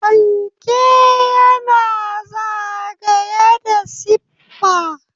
Fanke yana zagaye da siffa.